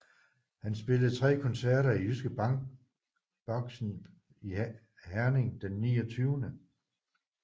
Han spillede 3 koncerter i Jyske Bank Boxen i Herning den 29